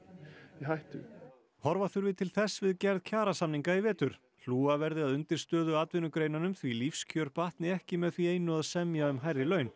hættu horfa þurfi til þess við gerð kjarasamninga í vetur hlúa verði að undirstöðuatvinnugreinunum því lífskjör batni ekki með því einu að semja um hærri laun